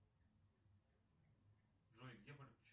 джой где